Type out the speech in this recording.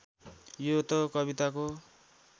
यो त कविताको